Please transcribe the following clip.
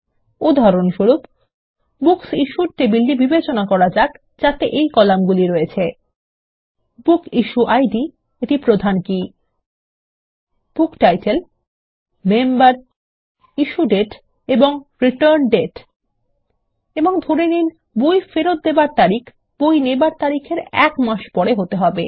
উদাহরণস্বরূপ বুকসিশ্যুড টেবিলটি বিবেচনা করা যাক যাতে এই কলামগুলি রয়েছে160 বুকিশুয়েইড এটি প্রধান কী বুকটাইটেল মেম্বার ইস্যুডেট এবং রিটার্ন্ডেট এবং ধরে দিন বই ফেরতের তারিখ বই নেবার তারিখের এক মাস পরে হতে হবে